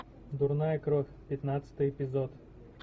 дурная кровь пятнадцатый эпизод